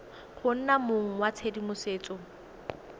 go nna mong wa tshedimosetso